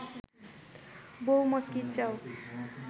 বৌমা কি চাও